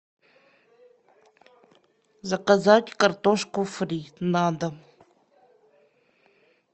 заказать картошку фри на дом